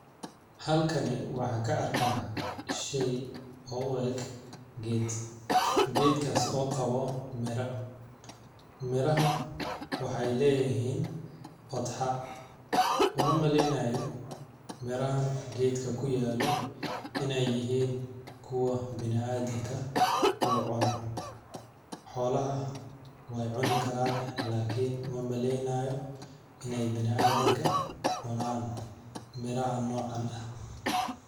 Halkani waxaan ka arkaa sheey oo u eg geed ,geedkaas oo qabo mira ,miraha waxeey leeyihin odxa ,uma maleynaayi mirahan geedka kuyaalo ineey yihiin kuwa bini adamka uu cuno ,xoolaha weey cuni karaan laakin ma maleynaayo ineey bini adamka cunaan miraha nocaan ah.